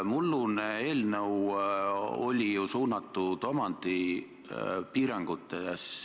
Mullune eelnõu oli ju suunatud omandipiirangute vastu.